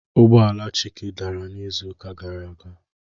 Ụgbọ ala Chike dara n'izuụka gara aga